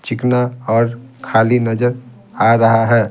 चिकना और खाली नजर आ रहा है।